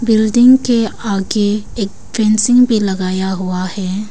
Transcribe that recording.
Building के आगे एक भी लगाया हुआ है।